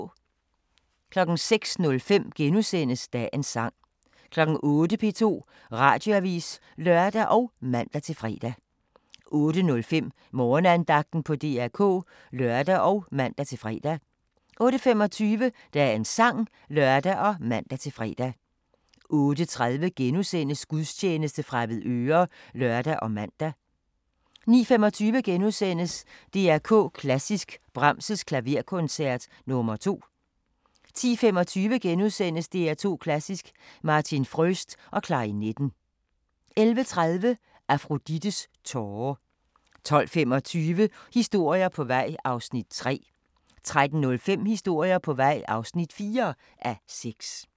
06:05: Dagens Sang * 08:00: P2 Radioavis (lør og man-fre) 08:05: Morgenandagten på DR K (lør og man-fre) 08:25: Dagens Sang (lør og man-fre) 08:30: Gudstjeneste fra Avedøre *(lør og man) 09:25: DR K Klassisk: Brahms' Klaverkoncert nr. 2 * 10:25: DR K Klassisk: Martin Fröst og klarinetten * 11:30: Afrodites tåre 12:25: Historier på vej (3:6) 13:05: Historier på vej (4:6)